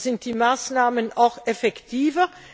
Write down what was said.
Dann sind die Maßnahmen auch effektiver.